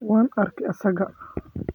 waan arkay isaga.